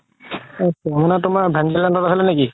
ventilator ত আছিল নেকি